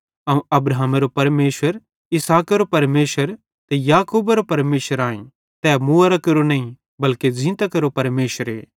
अवं अब्राहमेरो परमेशर ते इसहाकेरो परमेशर ते याकूबेरो परमेशर आई तै मुवोरां केरो नईं बल्के ज़ींतां केरो परमेशरे